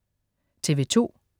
TV2: